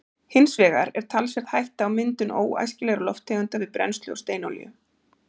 hins vegar er talsverð hætta á myndun óæskilegra lofttegunda við brennslu á steinolíu